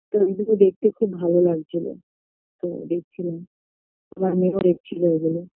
তো ওইগুলো দেখতে খুব ভালো লাগছিল তো দেখছিলাম আমার মেয়েও দেখছিল ওইগুলো